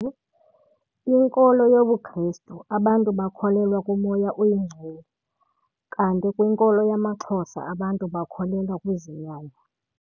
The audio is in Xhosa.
Kwinkolo yobuKristu abantu bakholelwa kumoya oyingcwele kanti kwinkolo yamaXhosa abantu bakholelwa kwizinyanya.